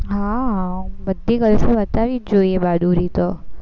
હમ બધી girls ને બતાવવી જ જોઈએ બહાદુરી તો